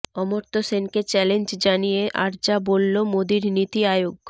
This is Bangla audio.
অমর্ত্য সেনকে চ্যালেঞ্জ জানিয়ে আর যা বলল মোদীর নীতি আয়োগ